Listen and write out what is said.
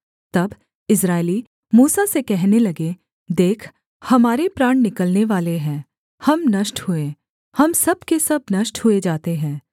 तब इस्राएली मूसा से कहने लगे देख हमारे प्राण निकलने वाले हैं हम नष्ट हुए हम सब के सब नष्ट हुए जाते हैं